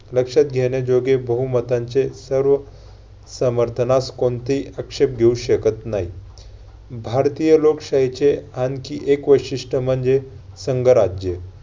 लक्षात घेण्या बहुमतांचे सर्व समर्थनास कोणतेही अक्षेप घेऊ शकत नाही. भारतीय लोकशाहीचे आणखी एक वैशिष्ट्य म्हणजे संघराज्य